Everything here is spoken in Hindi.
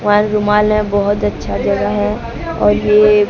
वहां एक रुमाल हैं बहोत अच्छा जगह है और ये--